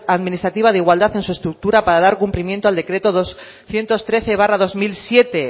administrativa de igualdad en su estructura para dar cumplimiento al decreto doscientos trece barra dos mil siete